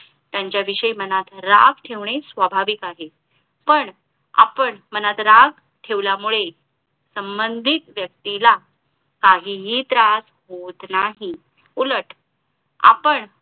यांचा विषयी मनात राग ठेवणे स्वाभाविक आहे पण आपण मनात राग ठेवल्यामुळे संबांधित व्यक्तीला काहीही त्रास होत नाही उलट आपण